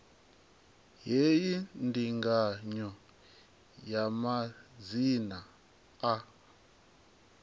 hei ndinganyo ya madzina a